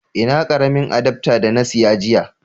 Ina karamin adafta da na siya jiya.